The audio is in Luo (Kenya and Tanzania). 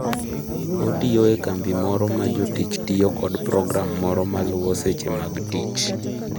Otiyo e kambi moro ma jotich tiyo kod program moro ma luwo seche mag tich.